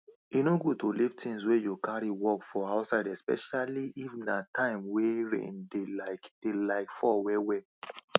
main ten ance mean say you go patch roof wey dey leak repair door wey don break and change wall wey don spoil